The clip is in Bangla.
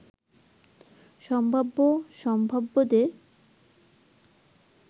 সম্ভাব্য সম্ভাব্যদের